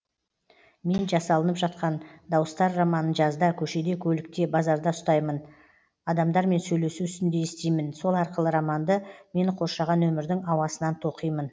мен жасалынып жатқан дауыстар романын жазда көшеде көлікте базарда ұстаймын адамдармен сөйлесу үстінде естимін сол арқылы романды мені қоршаған өмірдің ауасынан тоқимын